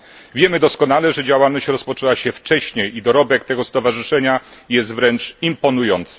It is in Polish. Wiemy doskonale, że działalność rozpoczęła się wcześniej i dorobek tego stowarzyszenia jest wręcz imponujący.